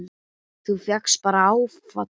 Þú fékkst bara áfall!